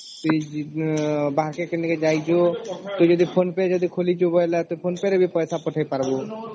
ସେ ବାହାରକେ କେନେ ଯାଇଛୁ ତୁ ଯଦି phone pe ଯଦି ଖୋଲୁଛି ବୋଇଲେ ତୁ phone pe ରେ ବି ପଇସା ପଠେଇ ପାରିବୁ